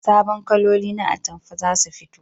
Sabon kaloli na atamfa zasu fito